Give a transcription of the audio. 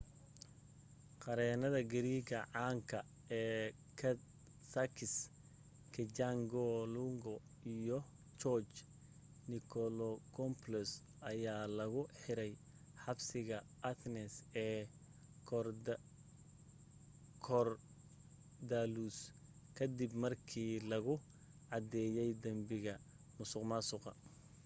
qareennada greek caanka ee sakis kechagioglou iyo george nikolakopoulos ayaa lagu xiray xabsiga athens ee korydallus ka dib markii lagu cadeeyey dambiga musuqmaasuqa